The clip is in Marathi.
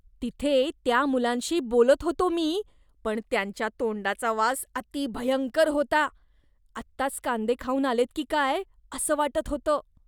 तिथे त्या मुलांशी बोलत होतो मी पण त्यांच्या तोंडाचा वास अति भयंकर होता. आत्ताच कांदे खाऊन आलेत की काय असं वाटत होतं.